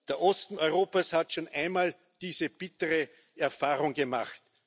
Der Osten Europas hat schon einmal diese bittere Erfahrung gemacht.